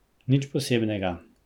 Nič posebnega.